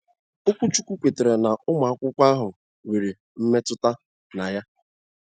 Okwuchukwu kwetara na ụmụ akwụkwọ ahụ nwere mmetụta na ya